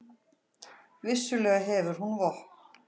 Vissulega hefur hún vopn.